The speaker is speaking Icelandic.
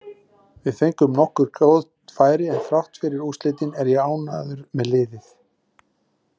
Við fengum nokkur góð færi, en þrátt fyrir úrslitin er ég ánægður með liðið.